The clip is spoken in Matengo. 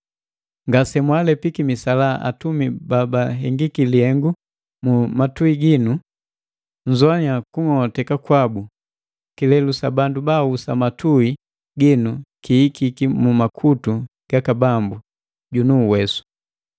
Ngasemwaalepiki misalaa atumi babahengiki lihengu mu matui ginu. Nzoannya kung'ong'oteka kwabu! Kilelu sa bandu baahusa matui ginu kihikiki mu makutu gaka Bambu junu Uwesu.